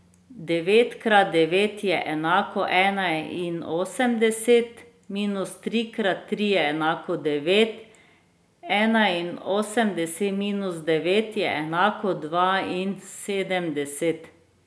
Devet krat devet je enako enainosemdeset, minus tri krat tri je enako devet, enainosemdeset minus devet je enako dvainsedemdeset.